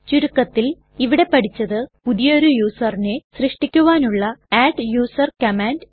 ചുരുക്കത്തിൽ ഇവിടെ പഠിച്ചത് പുതിയൊരു userനെ സൃഷ്ടിക്കുവാനുള്ള അഡ്ഡൂസർ കമാൻഡ്